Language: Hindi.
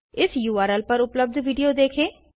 इस उर्ल पर उपलब्ध वीडियो देखें